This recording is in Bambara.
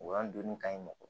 O y'an donni ka ɲi mɔgɔ